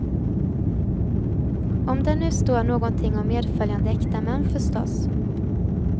Om där nu står någonting om medföljande äkta män förstås.